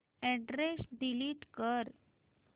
address delete कर